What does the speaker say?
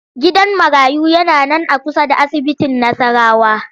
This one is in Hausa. Gidan marayu yana nan a kusa da asibitin Nassarawa